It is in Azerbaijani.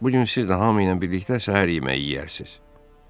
Bu gün siz də hamı ilə birlikdə səhər yeməyi yeyərsiniz.